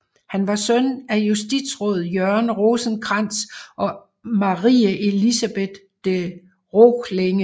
Han var søn af justitsråd Jørgen Rosenkrantz og Marie Elisabeth de Roklenge